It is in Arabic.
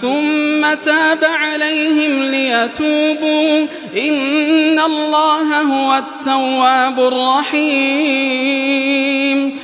ثُمَّ تَابَ عَلَيْهِمْ لِيَتُوبُوا ۚ إِنَّ اللَّهَ هُوَ التَّوَّابُ الرَّحِيمُ